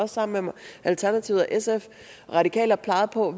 sammen med alternativet sf og radikale har peget på